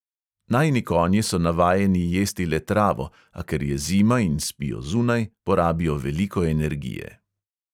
Najini konji so navajeni jesti le travo, a ker je zima in spijo zunaj, porabijo veliko energije.